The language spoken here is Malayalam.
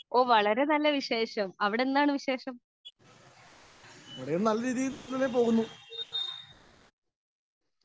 സ്പീക്കർ 2 ഓഹ് വളരെ നല്ല വിശേഷം അവിടെ എന്താണ് വിശേഷം